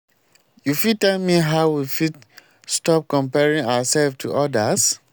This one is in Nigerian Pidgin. you fit tell me how we fit stop comparing ourselves to odas?